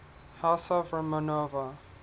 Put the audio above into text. house of romanov